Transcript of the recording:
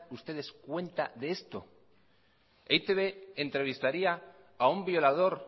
ustedes cuenta de esto e i te be entrevistaría a un violador